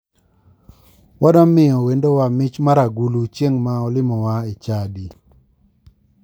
Wadwaro miyo wendowa mich mar agulu chieng ma olimowa e chadi.